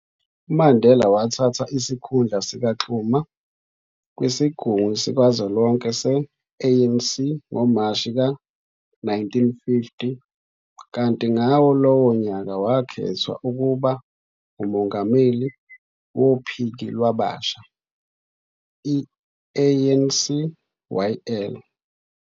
UMandela wathatha isikhundla sikaXuma kwisigungu sikazwelonke se-ANC ngoMashi ka-1950, kanti ngawo lowo nyaka wakhethwa ukuba ngumongameli wophiki lwabasha i-ANCYL.